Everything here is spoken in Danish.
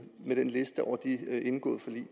med den liste over de indgåede forlig